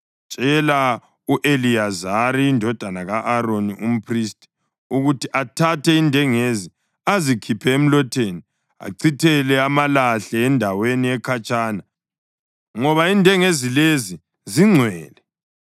“Tshela u-Eliyazari indodana ka-Aroni, umphristi, ukuthi athathe indengezi azikhiphe emlotheni achithele amalahle endaweni ekhatshana, ngoba indengezi lezi zingcwele,